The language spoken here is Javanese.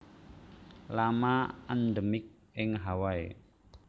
Lama endemik ing Hawaii